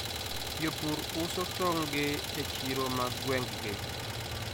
Jopur uso tong'gi e chiro mag gweng'gi.